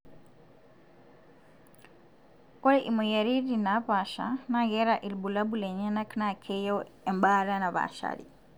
oreimoyiaritin napaasha na keeta ilbulabul lenyana na keyieu embaata napashari.